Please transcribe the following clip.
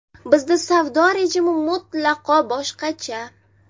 Bizda savdo rejimi mutlaqo boshqacha.